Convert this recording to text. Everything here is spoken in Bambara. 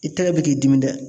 I tɛgɛ bɛ k'i dimi dɛ.